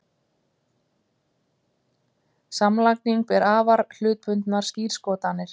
Samlagning ber afar hlutbundnar skírskotanir.